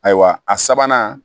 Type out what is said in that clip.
Ayiwa a sabanan